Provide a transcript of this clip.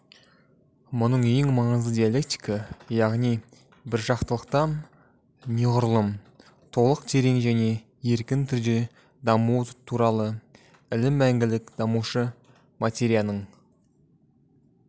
мұның ең маңызы диалектика яғни біржақтылықтан неғұрлым толық терең және еркін түрде дамуы туралы ілім мәңгілік дамушы материяның